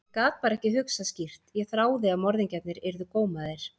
Ég gat bara ekki hugsað skýrt, ég þráði að morðingjarnir yrðu gómaðir.